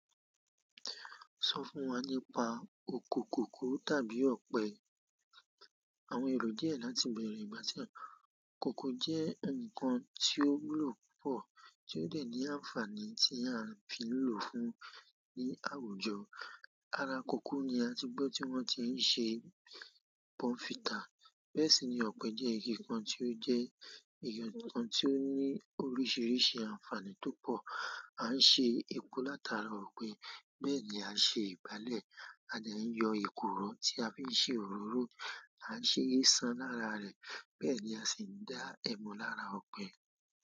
Sọ fún wa nípa oko kòkó tàbí ọ̀pẹ. Àwọn èrò díẹ̀ láti bẹ̀rẹ̀ ìgbà tí oko kòkó jẹ́ ǹkan tí ó wúlò púpọ̀ tí ó dà ní ànfàní tí a fi ń lò fún ní àwùjọ. Ara kòkó ni a ti gbọ́ tí wọ́n ti ń ṣe bọnfítà. Bẹ́ẹ̀ sì ni ọ̀pẹ jẹ́ ike kan tí ó jẹ́ ǹkan tí ó ní oríṣiríṣi ànfàní tó pọ̀. A ń ṣe epo látara ọ̀pẹ, bẹ́ẹ̀ ni a ń ṣe ìgbálẹ̀, a dà ń yọ èkùrọ̀ tí a fi ń ṣe òróró, a ń ṣe éeṣàn lára rẹ̀, bẹ́ẹ̀ ni a sì ń dá ẹmu lára ọ̀pẹ.